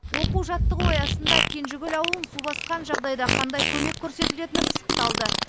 оқу жаттығу аясында кенжекөл ауылын су басқан жағдайда қандай көмек көрсетілетіні пысықталды